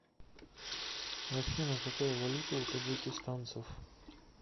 афина какая валюта у таджикистанцев